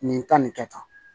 Nin ta nin kɛ tan